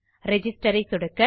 Registerஐ சொடுக்க